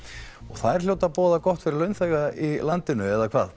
þær hljóta að boða gott fyrir launþega í landinu eða hvað